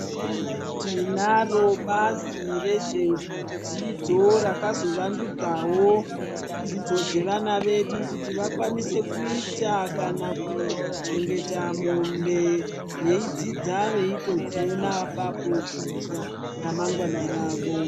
Tinaro bazi rezvedzidzo rakazovandudzawo dzidzo dzevana vedu kuti vakwanise kuita kana kuchengeta mombe veidzidza veitodziona apapo kuitire ramangwana ravo.